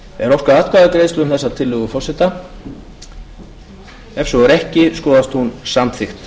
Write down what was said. er óskað atkvæðagreiðslu um þessa tillögu forseta ef svo er ekki skoðast hún samþykkt